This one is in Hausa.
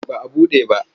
Ba a buɗe ba.